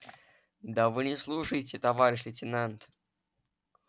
да вы не слушаете товарищ лейтенант